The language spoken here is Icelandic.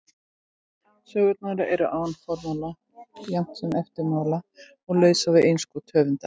Sögurnar eru án formála jafnt sem eftirmála og lausar við innskot höfundar.